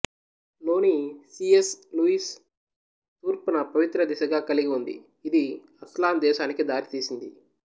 లోని C S Lewis తూర్పును పవిత్ర దిశగా కలిగి ఉంది ఇది అస్లాన్ దేశానికి దారితీసింది